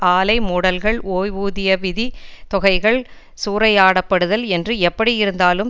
ஆலை மூடல்கள் ஓய்வூதிய விதித் தொகைகள் சூறையாடப்படுதல் என்று எப்படி இருந்தாலும்